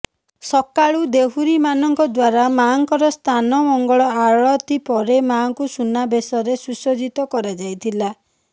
ସକାଳୁ ଦେହୁରୀ ମାନଙ୍କ ଦ୍ବାରା ମାଙ୍କର ସ୍ନାନ ମଙ୍ଗଳ ଆଳତି ପରେ ମାଙ୍କୁ ସୁନା ବେଶରେ ସୁସଜ୍ଜିତ କରାଯାଇଥିଲା